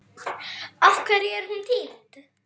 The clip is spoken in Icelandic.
Af hverju er hún týnd?